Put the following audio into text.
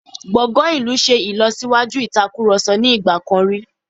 Gbọ̀ngàn ìlú ṣe ìlọ́síwájú ìatkurọ̀sọ ní ìgbà kan rí..